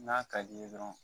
N'a ka di i ye dɔrɔn